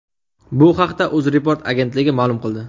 Bu haqda UzReport agentligi ma’lum qildi .